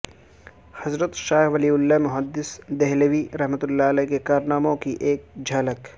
حضرت شاہ ولی اللہ محدث دہلوی رح کے کارناموں کی ایک جھلک